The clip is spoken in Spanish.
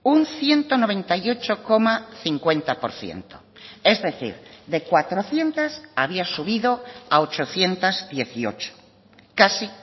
un ciento noventa y ocho coma cincuenta por ciento es decir de cuatrocientos había subido a ochocientos dieciocho casi